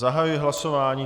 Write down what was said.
Zahajuji hlasování.